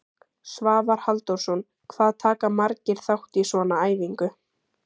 Svavar Halldórsson: Hvað taka margir þátt í svona æfingu?